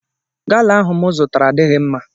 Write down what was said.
Gala ahụ mụ zụtara adịghị mma